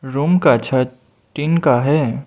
Room का छत tin का है।